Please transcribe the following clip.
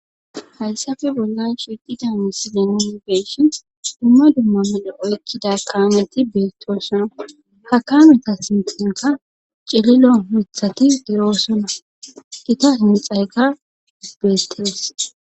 Hayssafe bolla shiqidane silenibeyshin dumma dumma mele7oykkida kaameti beettoosona ha kaameta sinxinka cililo mithati diroosonna kita himxayka bettees.